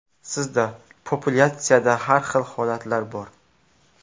Sizda populyatsiyada har xil holatlar bor.